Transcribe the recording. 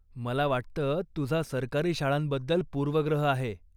मला वाटतं तुझा सरकारी शाळांबद्दल पूर्वग्रह आहे.